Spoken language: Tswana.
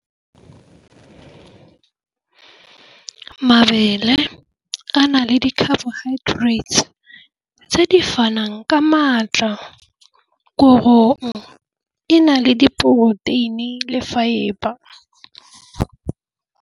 Mabele a na le di-carbohydrates tse di fanwang ka maatla. Korong e na le diporoteini le fibre.